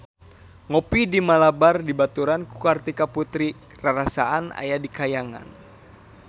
Ngopi di Malabar dibaturan ku Kartika Putri rarasaan aya di kahyangan